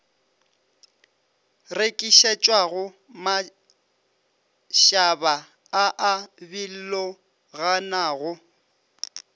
rekišetšwago mašaba a a biloganago